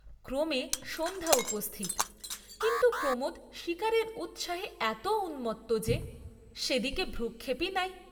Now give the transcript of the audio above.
ক্রমে সন্ধ্যা উপস্থিত; কিন্তু প্রমোদ শীকারের উৎসাহে এত উন্মত্ত যে, সেদিকে ভ্রূক্ষেপই নাই।